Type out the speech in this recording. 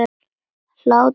Hlátur þinn gladdi alla.